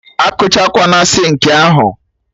Akụwakwana sinkị ahụ?